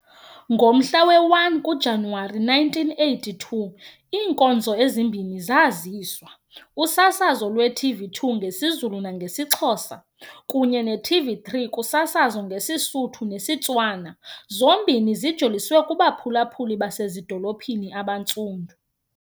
Ngomhla woku-1 kuJanuwari 1982, iinkonzo ezimbini zaziswa, usasazo lwe-TV2 ngesiZulu nangesiXhosa kunye ne-TV3 kusasazo ngesiSuthu nesiTswana, zombini ezijoliswe kubaphulaphuli basezidolophini abaNtsundu.